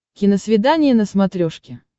киносвидание на смотрешке